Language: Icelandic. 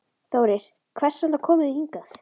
Þórir: Hvers vegna komu þið hingað?